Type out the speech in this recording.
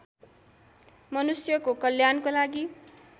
मनुष्यको कल्याणको लागि